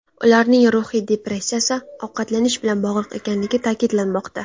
Ularning ruhiy depressiyasi ovqatlanish bilan bog‘liq ekanligi ta’kidlanmoqda.